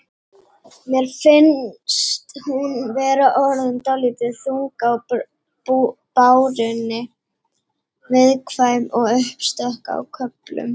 Mér finnst hún vera orðin dálítið þung á bárunni. viðkvæm og uppstökk á köflum.